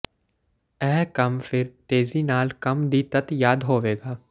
ਇਹ ਕੰਮ ਫਿਰ ਤੇਜ਼ੀ ਨਾਲ ਕੰਮ ਦੀ ਤੱਤ ਯਾਦ ਹੋਵੇਗਾ